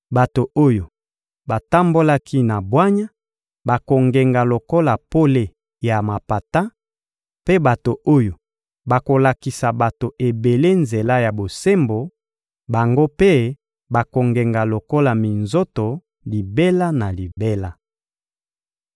Bato oyo batambolaki na bwanya bakongenga lokola pole ya mapata; mpe bato oyo bakolakisa bato ebele nzela ya bosembo, bango mpe bakongenga lokola minzoto libela na libela.